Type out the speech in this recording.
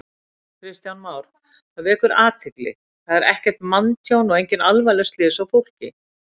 Kristján Már: Það vekur athygli, það er ekkert manntjón og engin alvarleg slys á fólki?